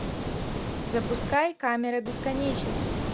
запускай камера бесконечности